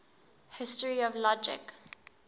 history of logic